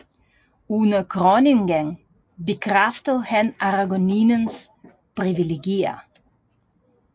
Under kroningen bekræftede han Aragoniens privilegier